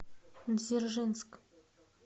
дзержинск